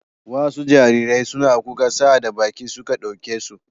Wasu jariran suna kuka sa'ad da baƙi suka ɗauke su.